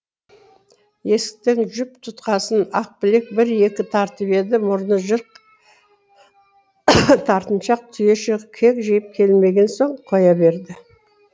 есіктің жіп тұтқасын ақбілек бір екі тартып еді мұрны жырық тартыншақ түйеше кекжиіп келмеген соң қоя берді